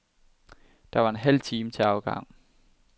Der var en halv time til afgang.